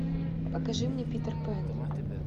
покажи мне питер пэн